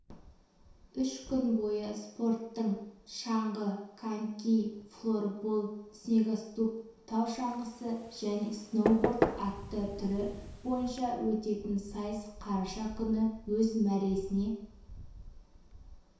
үш күн бойы спорттың шаңғы коньки флорбол снегоступ тау шаңғысы және сноуборд атты түрі бойынша өтетін сайыс қараша күні өз мәресіне